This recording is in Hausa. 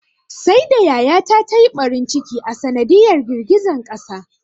Saida yaya ta ta yi ɓarin ciki a sanadiyar girgizan ƙasar.